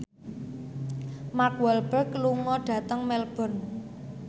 Mark Walberg lunga dhateng Melbourne